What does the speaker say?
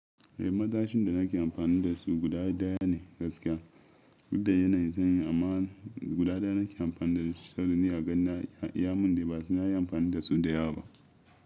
Eh matashin da nake amfani da su guda daya ne gaskiya. Dudda yanayin san yin amma guda daya nake amfani da su sabida ni aganin ya mun dai ba sai na yi amfani da su da yawa ba.